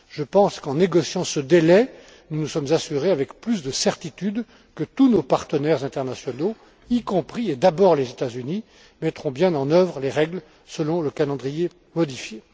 Je pense qu'en négociant ce délai, nous nous sommes assurés avec plus de certitude que tous nos partenaires internationaux, y compris et d'abord les États Unis, mettraient bien en œuvre les règles selon le calendrier modifié.